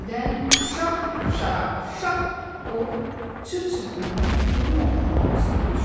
Birdən şap-şarap, şap o cır-cırpının quru yarpaqların üstünə düşdü.